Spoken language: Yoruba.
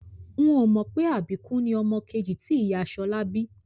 N ò mọ̀ pé àbíkú ni ọmọ kejì tí ìyá Ṣọlá bí